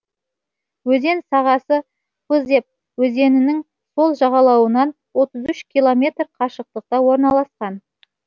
өзен сағасы пызеп өзенінің сол жағалауынан отыз үш километр қашықтықта орналасқан